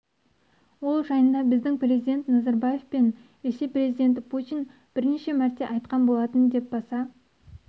ол жайында біздің президент назарбаев пен ресей президенті путин бірнеше мәрте айтқан болатын деп баса